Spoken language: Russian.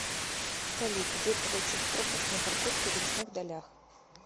салют где получить пропуск на парковку в лесных далях